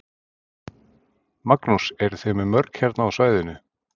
Magnús: Eruð þið með mörg hérna á svæðinu?